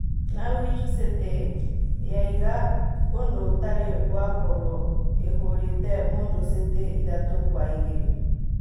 Nawich City yaiga ũndũ ũtarĩ wakorũo ĩhũrĩte Mũndũ City ĩthatu kwa igĩrĩ